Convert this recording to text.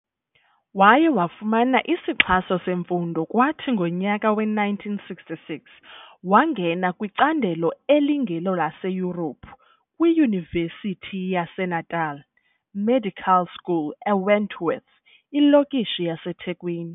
Waye wafumana isixhaso semfundo, kwathi ngonyaka we-1966 wangena kwicandelo "elingelolaseYurophu" kwiYunivesithi yaseNatal Medical School eWentworth, ilokishi yaseThekwini.